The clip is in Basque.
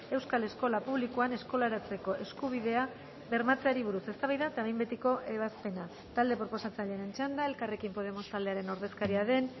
euskal eskola publikoan eskolaratzeko eskubidea bermatzeari buruz eztabaida eta behin betiko ebazpena talde proposatzailearen txanda elkarrekin podemos taldearen ordezkaria den